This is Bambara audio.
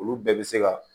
Olu bɛɛ bɛ se ka